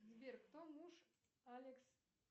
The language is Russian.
сбер кто муж алекс